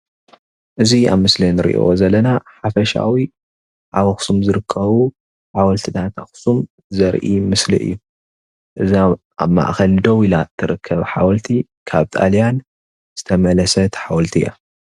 እዚ ምስሊ ሓወልቲ ኣኽሱም ኮይኑ እቲ ማእኸላይ ከዓ ካብ ጣልያን ዝተመለሰት እያ።